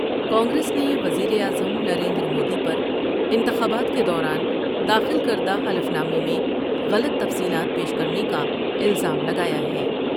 کانگریس نے وزیراعظم نریندرمودی پر انتخابات کے دوران داخل کرد ہ حلف نامے میں غلط تفصیلات پیش کرنے کا الزام لگایا ہے ۔